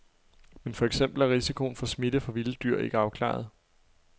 Men for eksempel er risikoen for smitte fra vilde dyr ikke afklaret.